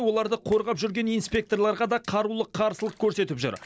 оларды қорғап жүрген инспекторларға да қарулы қарсылық көрсетіп жүр